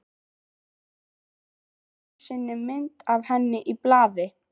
Sá aðeins einu sinni mynd af henni í blaði.